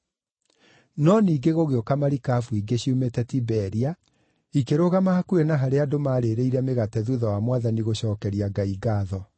No ningĩ gũgĩũka marikabu ingĩ ciumĩte Tiberia ikĩrũgama hakuhĩ na harĩa andũ maarĩĩrĩire mĩgate thuutha wa Mwathani gũcookeria Ngai ngaatho.